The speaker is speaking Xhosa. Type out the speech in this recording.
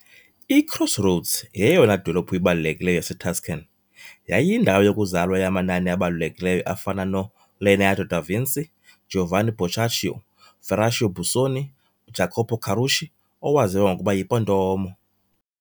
I-Crossroads yeyona dolophu ibalulekileyo yaseTuscan, yayiyindawo yokuzalwa yamanani abalulekileyo afana noLeonardo da Vinci, uGiovanni Boccaccio, uFerruccio Busoni, uJacopo Carucci owaziwa ngokuba yiPontormo.